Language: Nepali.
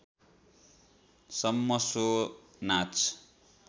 सम्म सो नाच